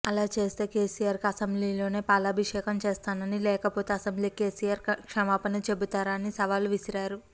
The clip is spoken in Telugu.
అలా చేస్తే కేసీఆర్ కి అసెంబ్లీలోనే పాలాభిషేకం చేస్తానని లేకపోతే అసెంబ్లీకి కేసీఆర్ క్షమాపణ చెబుతారా అని సవాలు విసిరారు